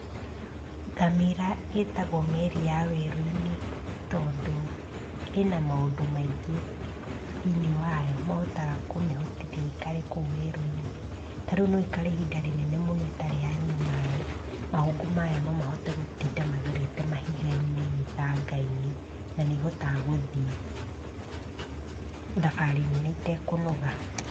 Ngamĩra ĩtagwo meri ya werũinĩ tondũ, ĩna maũndũ maingĩ thĩinĩ yao mahotaga kũmĩhotithia ĩikare kũu werũinĩ, tarĩũ noikare ihinda rĩnene mũno ĩtarĩ yanyua maĩ ,mahũnfũ mayo noĩhote gũtinda magerete mahigainĩ, mĩthangainĩ na nĩhotaga gũthiĩ thabarĩ nene itekũnoga.